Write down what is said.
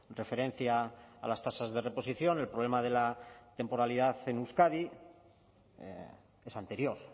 referencia a las tasas de reposición el problema de la temporalidad en euskadi es anterior